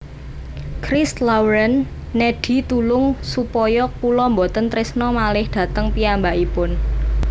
Christ Lauren nedhi tulung supaya kula mboten trisno malih dateng piyambakipun